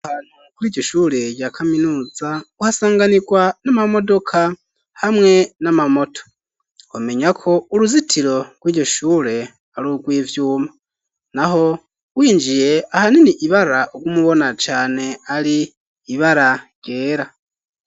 Ahantu kuri iryo shure rya kaminuza, uhasanganirwa n'amamodoka hamwe n'amamoto. Twomenya ko uruzitiro rw'iryo shure ari urw'ivyuma. Naho winjiye, ahanini ibara uguma ubona cane ari ibara ryera.